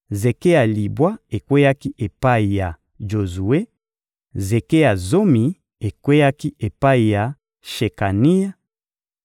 zeke ya libwa ekweyaki epai ya Jozue; zeke ya zomi ekweyaki epai ya Shekania;